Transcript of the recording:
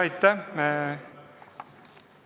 Aitäh!